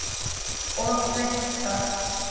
Og vill það.